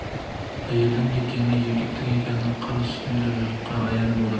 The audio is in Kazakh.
әйелдің екені еркектің екені қыр үстіндегі жұртқа аян болды